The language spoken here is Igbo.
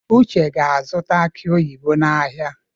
Uche ga-azụta aki oyibo n’ahịa.